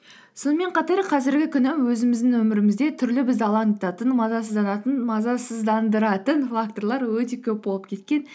сонымен қатар қазіргі күні өзіміздің өмірімізде түрлі бізді алаңдататын мазасыздандыратын факторлар өте көп болып кеткен